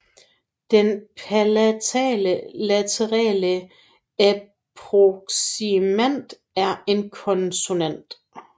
Den palatale laterale approksimant er en konsonant